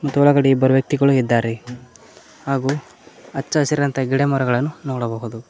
ಮತ್ತು ಒಳಗಡೆ ಇಬ್ಬರು ವ್ಯಕ್ತಿಗಳು ಇದ್ದಾರೆ ಹಾಗೂ ಹಚ್ಚಹಸಿರಂತಹ ಗಿಡಮರಗಳನ್ನು ನೋಡಬಹುದು.